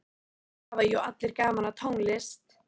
Það hafa jú allir gaman af tónlist.